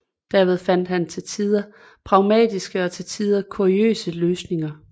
Derved fandt man til tider pragmatiske og til tider kuriøse løsninger